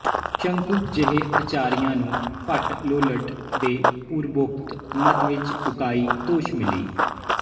ਸ਼ੰਕੁਕ ਜਿਹੇ ਆਚਾਰੀਆ ਨੂੰ ਭੱਟ ਲੋਲਟ ਦੇ ਪੂਰਵੋਕਤ ਮਤ ਵਿਚ ਉਕਾਈ ਦੋਸ਼ਮਿਲੀ